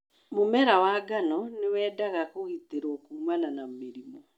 Mũmera wa ngano nĩwendaga kũgitĩrwo kuumana na mĩrimũ'